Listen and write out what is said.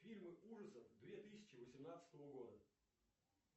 фильмы ужасов две тысячи восемнадцатого года